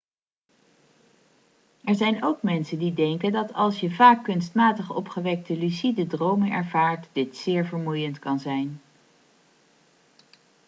er zijn ook mensen die denken dat als je vaak kunstmatig opgewekte lucide dromen ervaart dit zeer vermoeiend kan zijn